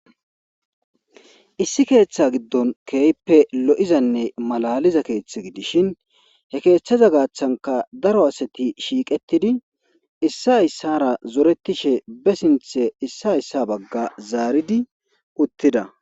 Issi keeththa giddon keeyppe lo7izanne malaliza keeththe gidishin he keeththaza gaaththanka daro asati shiiqettidi issa hyssara zoretishe be sinthe issa hayssa bagga zaaridi uttida.